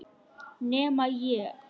Nema ég.